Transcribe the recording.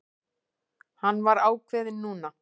Hann var ákveðinn núna.